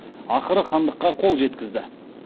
ақыры хандыққа қол жеткізді